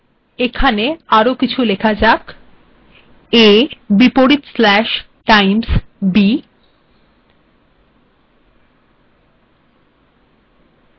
আরো কিছু লেখা যাক a times b